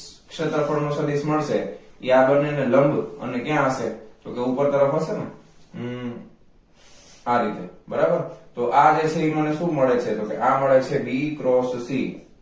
ક્ષેત્રફળ નુ સદિસ મળશે એ આ બંને ને લંબ અને ક્યાં હસે તો કે ઉપર તરફ હસે અમ આ રીતે બરાબર તો કે આ જે છે એ મને શુ મળે છે તો કે આ મળે છે b cross c